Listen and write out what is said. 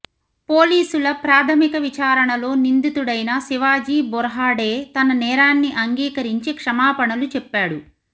పోలీసుల ప్రాథమిక విచారణలో నిందితుడైన శివాజీ బొర్హాడే తన నేరాన్ని అంగీకరించి క్షమాపణలు చెప్పాడు